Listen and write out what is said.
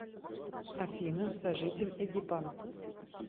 афина сожитель эгипан